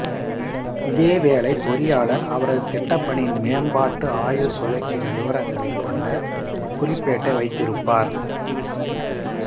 இதேவேளை பொறியாளர் அவரது திட்டப்பணியின் மேம்பாட்டு ஆயுள்சுழற்சியின் விவரங்களைக் கொண்ட குறிப்பேட்டை வைத்திருப்பார்